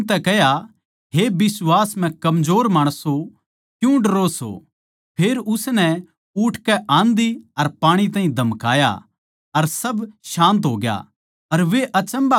यीशु नै उनतै कह्या हे बिश्वास म्ह कमजोर माणसों क्यूँ डरो सों फेर उसनै उठकै आँधी अर पाणी ताहीं धमकाया अर सब शान्त होग्या